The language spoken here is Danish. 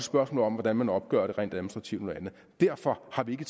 spørgsmål om hvordan man opgør det rent administrativt derfor har vi